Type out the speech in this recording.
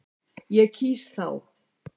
Ég kýs þá.